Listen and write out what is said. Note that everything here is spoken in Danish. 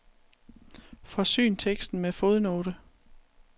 Forsyn teksten med fodnote.